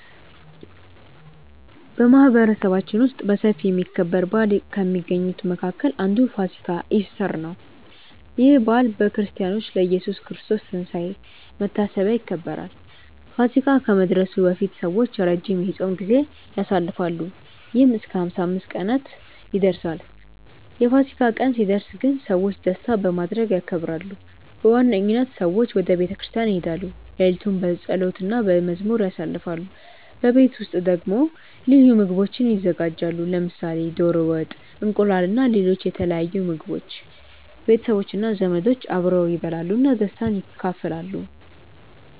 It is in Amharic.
በማህበረሰባችን ውስጥ በሰፊ የሚከበር በዓል ከሚገኙት መካከል አንዱ ፋሲካ (ኢስተር) ነው። ይህ በዓል በክርስቲያኖች ለኢየሱስ ክርስቶስ ትንሳኤ መታሰቢያ ይከበራል። ፋሲካ ከመድረሱ በፊት ሰዎች ረጅም የጾም ጊዜ ያሳልፋሉ፣ ይህም እስከ 55 ቀናት ይደርሳል። የፋሲካ ቀን ሲደርስ ግን ሰዎች ደስታ በማድረግ ያከብራሉ። በዋነኝነት ሰዎች ወደ ቤተ ክርስቲያን ይሄዳሉ፣ ሌሊቱን በጸሎት እና በመዝሙር ያሳልፋሉ። በቤት ውስጥ ደግሞ ልዩ ምግቦች ይዘጋጃሉ፣ ለምሳሌ ዶሮ ወጥ፣ እንቁላል እና ሌሎች የተለያዩ ምግቦች። ቤተሰቦች እና ዘመዶች አብረው ይበላሉ እና ደስታን ይካፈላሉ።